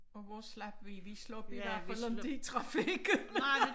Og hvor slap vi vi slap i hvert fald ikke trafikken